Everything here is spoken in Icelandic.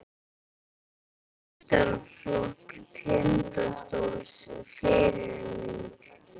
Í meistaraflokk Tindastóls Fyrirmynd?